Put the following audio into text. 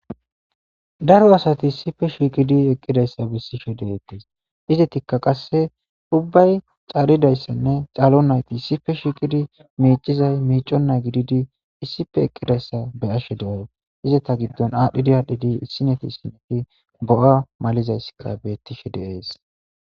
Daro asati sife shiiqidi eqqidayssa bissishe deettes izetikka qasse ubbay caaridayssanne caalo nayti issife shiiqidi miicizay miiconna gididi issife eqqidayssa be ashe du''ay izeta giddon aadhdhidi aadhdhidi issineti sineti bo''a malizayssikka bettishe deees.